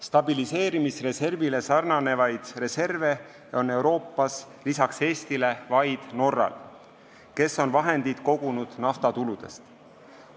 Stabiliseerimisreserviga sarnanevaid reserve on Euroopas lisaks Eestile vaid Norral, kes on vahendid kogunud naftatuludest.